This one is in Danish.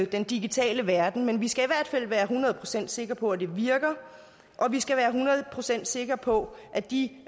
den digitale verden men vi skal i hvert fald være hundrede procent sikre på at det virker og vi skal være hundrede procent sikre på at de